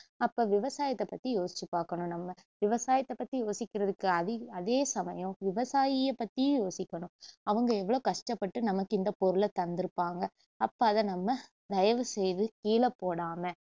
அப்போ விவசாயத்த பத்தி யோசிச்சுபாக்கனும் நம்ம விவசாயத்த பத்தி யோசிக்கிறதுக்கு அதி~ அதே சமயம் விவசாயிய பத்தியும் யோசிக்கணும் அவங்க எவளோ கஷ்டப்பட்டு நமக்கு இந்த பொருளை தந்துருப்பாங்க அப்போ அதை நம்ம தயவுசெய்து கீழபோடாம